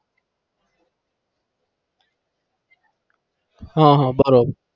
હા હા બરોબર.